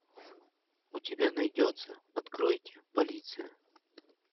у тебя найдется откройте полиция